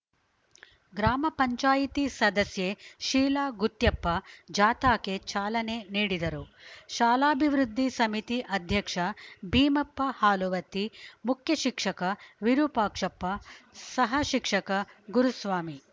ಗ್ರಾಮ ಪಂಚಾಯತಿ ಸದಸ್ಯೆ ಶೀಲಾ ಗುತ್ಯಪ್ಪ ಜಾಥಾಕ್ಕೆ ಚಾಲನೆ ನೀಡಿದರು ಶಾಲಾಭಿವೃದ್ಧಿ ಸಮಿತಿ ಅಧ್ಯಕ್ಷ ಭೀಮಪ್ಪ ಹಾಲುವತ್ತಿ ಮುಖ್ಯ ಶಿಕ್ಷಕ ವಿರುಪಾಕ್ಷಪ್ಪ ಸಹ ಶಿಕ್ಷಕ ಗುರುಸ್ವಾಮಿ